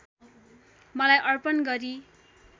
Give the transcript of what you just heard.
मलाई अर्पण गरी